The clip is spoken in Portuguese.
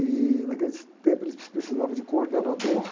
E naquele tempo eles precisavam de coordenador.